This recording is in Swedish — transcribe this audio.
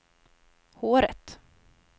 håret